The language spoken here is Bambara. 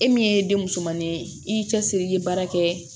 E min ye den musomannin ye i cɛsiri i ye baara kɛ